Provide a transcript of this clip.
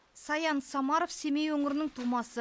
саян самаров семей өңірінің тумасы